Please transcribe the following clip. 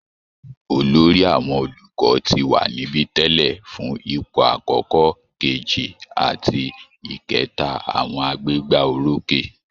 Olórí àwọn olùkọ́ ti wà níbi tẹ́lẹ̀ fún ipò àkọ́kọ́, kejì àti ìkẹta àwọn agbégbá orókè